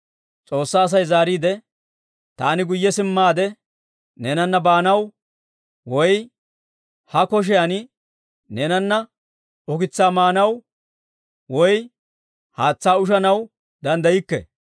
S'oossaa Asay zaariide, «Taani guyye simmaade neenana baanaw, woy ha koshiyan neenana ukitsaa maanaw, woy haatsaa ushanaw danddaykke.